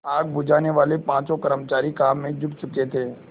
आग बुझानेवाले पाँचों कर्मचारी काम में जुट चुके थे